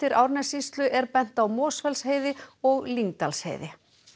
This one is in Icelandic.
Árnessýslu er bent á Mosfellsheiði og Lyngdalsheiði